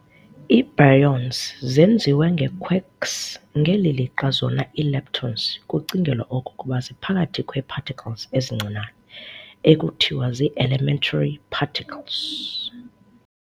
IiBaryons zenziwe ngeequarks ngeli lixa zona ii-Leptons kucingelwa okokuba ziphakathi kwee particles ezincinane, ekuthiwa ziielementary particles.